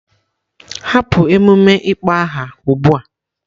Hapụ emume ịkpọ aha a ugbu a!